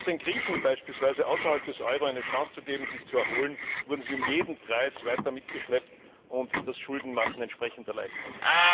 Statt den Griechen beispielsweise außerhalb des Euro eine Chance zu geben, sich zu erholen, wurden sie um jeden Preis weiter mitgeschleppt, und das Schuldenmachen wurde entsprechend erleichtert.